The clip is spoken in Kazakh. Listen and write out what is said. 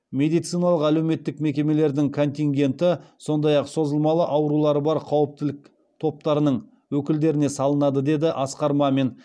медициналық әлеуметтік мекемелердің контингенті сондай ақ созылмалы аурулары бар қауіптілік топтарының өкілдеріне салынады деді асқар мамин